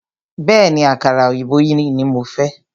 Bẹ̀ẹ́ni, àkàrà òyìnbó yìí ní mo fẹ́.